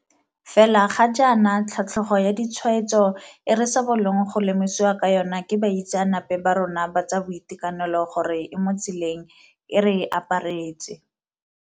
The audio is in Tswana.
Fela ga jaana, tlhatlhogo ya ditshwaetso e re sa bolong go lemosiwa ka yona ke baitseanape ba rona ba tsa boitekanelo gore e mo tseleng, e re aparetse.